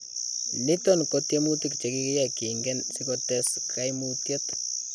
Niton ko tyemuutik chekakiyai kiingen sikotees kaimutyet .